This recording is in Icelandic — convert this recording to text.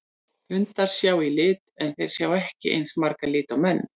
Hundar sjá í lit en þeir sjá ekki eins marga liti og menn.